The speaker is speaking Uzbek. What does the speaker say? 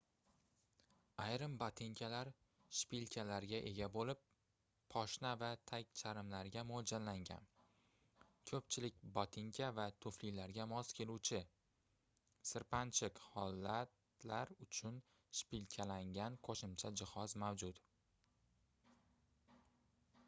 ayrim botinkalar shpilkalarga ega boʻlib poshna va tagcharmlarga moʻljallangan koʻpchilik botinka va tuflilarga mos keluvchi sirpanchiq holatlar uchun shpilkalangan qoʻshimcha jihoz mavjud